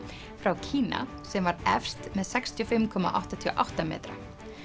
frá Kína sem var efst með sextíu og fimm komma áttatíu og átta metra